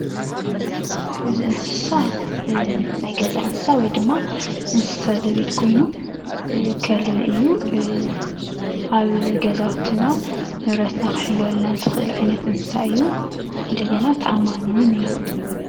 እዚ እንስሳ ናይ ገዛ እንስሳ ወይ ድማ እንስሳ ዘቤት ኮይኑ ከልቢ እዩ፣ ኣብ ገዛውትና ንብረትና ክሕልወልና ዝኽእል ዓይነት እንስሳ እዩ እንደገና ተኣማኒ እውን እዩ፡፡